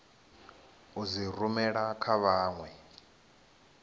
u dzi rumela kha vhanwe